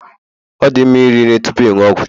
Ọ dị mma iri nri tupu ịṅụ ọgwụ